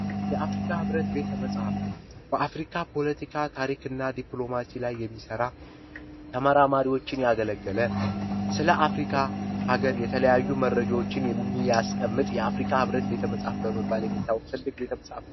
የአፍሪካ ህብረት ቤተመፃህፍት በአፍሪካ ታሪክና ፖለቲካዊ ዲፕሎማሲ ላይ የሚሰራ ተማራማሪዎችን ያገለገለ፤ ስለ አፍሪካ ሀገር የተለያዩ መረጃዎችን የሚያስቀምጥ፣ የአፍሪካ ህብረት በመባል የሚታወቅ ቤተመጽሐፍት፣ ትልቅ ቤተመፃፍት ነው።